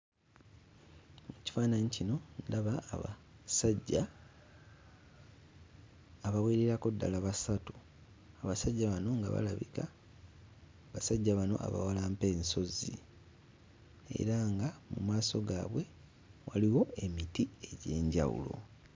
Kifaananyi kino ndaba abasajja abawererako ddala basatu abasajja bano nga balabika basajja bano abawalampa ensozi era nga mu maaso gaabwe waliwo emiti egy'enjawulo.